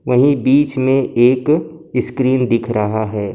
वही बीच में एक स्क्रीन दिख रहा है।